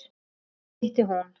Þar hitti hún